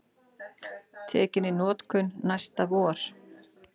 Tekin í notkun næsta vor